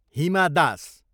Hima Das